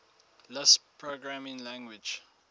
lisp programming language